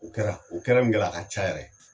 O kɛra. O kɛra? min kɛra a ka ca yɛrɛ.